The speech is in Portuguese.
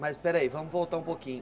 Mas peraí, vamos voltar um pouquinho.